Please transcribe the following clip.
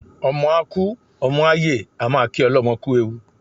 Ọmọ a kú, ọmọ a yè a máa kí ọlọ́mọ kú ewu